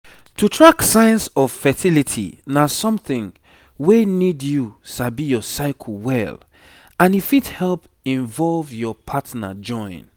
to track signs of fertility na something wey need you sabi your cycle well and e fit help invovle your partner join